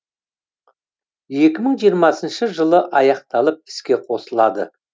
екі мың жиырмасыншы жылы аяқталып іске қосылады